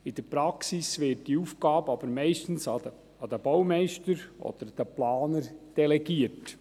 In der Praxis wird diese Aufgabe aber meistens an die Baumeister oder an die Planer delegiert.